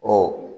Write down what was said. Ɔ